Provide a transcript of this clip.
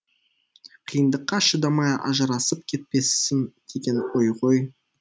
қиындыққа шыдамай ажырасып кетпесін деген ой ғой